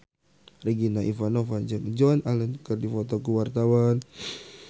Regina Ivanova jeung Joan Allen keur dipoto ku wartawan